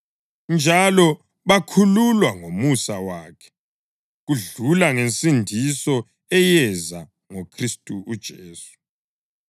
njalo bakhululwa ngomusa wakhe kudlula ngensindiso eyeza ngoKhristu uJesu.